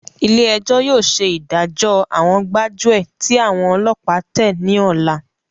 Ilé ẹjọ́ yóò ṣe ìdájọ àwọn gbájúẹ̀ tí àwọn ọlọ́pàá tẹ ní ọlá.